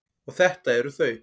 Og þetta eru þau.